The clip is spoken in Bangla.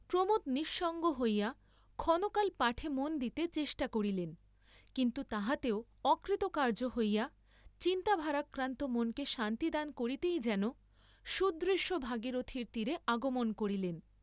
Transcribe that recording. প্রমোদ নিঃসঙ্গ হইয়া ক্ষণকাল পাঠে মন দিতে চেষ্টা করিলেন, কিন্তু তাহাতেও অকৃতকার্য্য হইয়া, চিন্তাভারাক্রান্ত মনকে শান্তি দান করিতেই যেন, সুদৃশ্য ভাগীরথীর তীরে আগমন করিলেন।